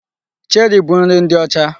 Cheri bụ nri ndị ọcha.